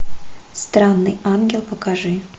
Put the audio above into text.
странный ангел покажи